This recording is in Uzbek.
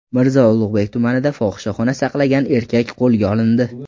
Mirzo Ulug‘bek tumanida fohishaxona saqlagan erkak qo‘lga olindi.